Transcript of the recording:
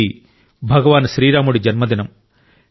ఇది భగవాన్ శ్రీరాముడి జన్మదినం